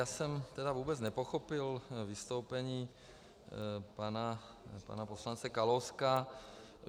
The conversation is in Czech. Já jsem tedy vůbec nepochopil vystoupení pana poslance Kalouska.